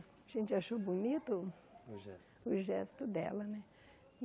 A gente achou bonito o gesto dela, né?